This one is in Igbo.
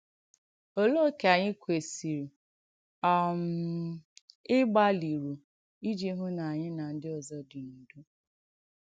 Òlee ókè ànyị̀ kwèsìrì um ị̀gbàlìrù iji hụ̀ na ànyị̀ na ndí òzọ̀ dị n’ùdò?